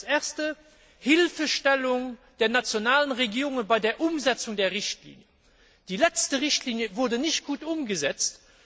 Erstens Hilfestellung der nationalen Regierungen bei der Umsetzung der Richtlinie. Die letzte Richtlinie wurde nicht angemessen umgesetzt.